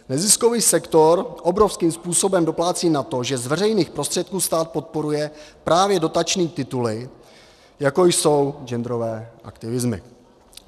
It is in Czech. Neziskový sektor obrovským způsobem doplácí na to, že z veřejných prostředků stát podporuje právě dotační tituly, jako jsou genderové aktivismy.